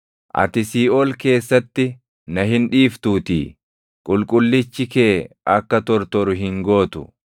Ati siiʼool keessatti na hin dhiiftuutii; qulqullichi kee akka tortoru hin gootu.